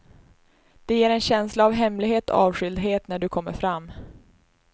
Det ger en känsla av hemlighet och avskildhet när du kommer fram.